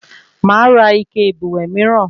Máa ra ike ìbùwẹ̀ mìíràn